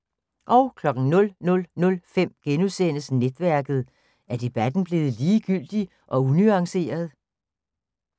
00:05: Netværket: Er debatten blevet ligegyldig og unuanceret? *